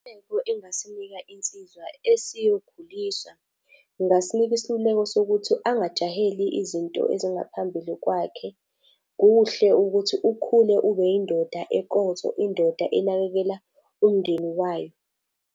Isiluleko engasinika insizwa esiyokhuliswa, ngasinika isiluleko sokuthi angajaheli izinto ezingaphambili kwakhe. Kuhle ukuthi ukhule ube yindoda eqotho, indoda enakekela umndeni wayo.